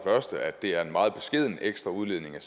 første at det er en meget beskeden ekstra udledning